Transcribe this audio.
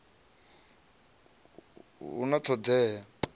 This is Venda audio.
hu na t hod ea